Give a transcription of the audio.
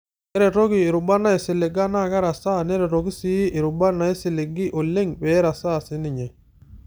Keretoki irubat naisiliga naa kerasaa, neretoki sii erubata naisiligi oleng' peerasaaa si ninye.